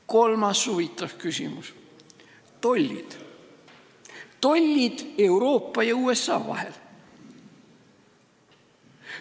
Kolmas huvitav küsimus – tollid Euroopa ja USA vahel.